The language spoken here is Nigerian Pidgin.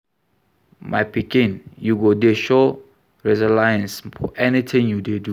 My pikin, you go dey show resilience for anything you dey do